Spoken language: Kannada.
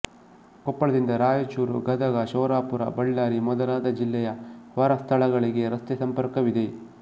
ಕೊಪ್ಪಳದಿಂದ ರಾಯಚೂರು ಗದಗ ಶೋರಾಪುರ ಬಳ್ಳಾರಿ ಮೊದಲಾದ ಜಿಲ್ಲೆಯ ಹೊರ ಸ್ಥಳಗಳಿಗೆ ರಸ್ತೆ ಸಂಪರ್ಕವಿದೆ